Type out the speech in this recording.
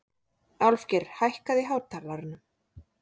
Álfgeir, hækkaðu í hátalaranum.